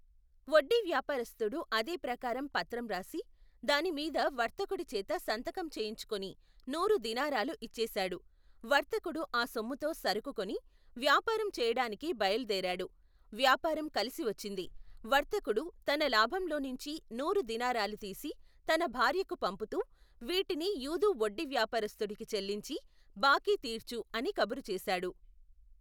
వడ్డీ వ్యాపారస్తుడు అదేప్రకారం పత్రం రాసి, దానిమీద వర్తకుడిచేత సంతకం చేయించుకుని నూరు దీనారాలూ ఇచ్చేశాడు, వర్తకుడు ఆ సొమ్ముతో సరుకుకొని, వ్యాపారం చెయ్యటానికి బయలు దేరాడు, వ్యాపారం కలిసివచ్చింది వర్తకుడు, తన లాభంలోనుంచి నూరు దీనారాలు తీసి తన భార్యకు పంపుతూ వీటిని యూదు వడ్డీ వ్యాపారస్తుడికి చెల్లించి, బాకీ తీర్చు అని కబురుచేశాడు.